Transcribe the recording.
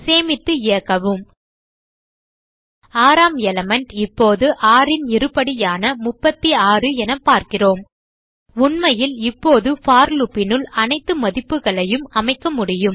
சேமித்து இயக்கவும் ஆறாம் எலிமெண்ட் இப்போது 6 ன் இருபடியான 36 என பார்க்கிறோம் உண்மையில் இப்போது போர் loop னுள் அனைத்து மதிப்புகளையும் அமைக்க முடியும்